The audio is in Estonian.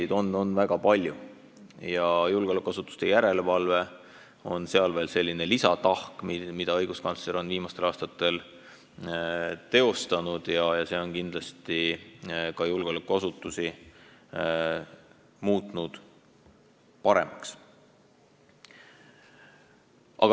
Neid teemasid on väga palju ja julgeolekuasutuste järelevalve on veel selline lisaülesanne, mida õiguskantsler on viimastel aastatel teostanud, ja see on kindlasti julgeolekuasutuste töö paremaks muutnud.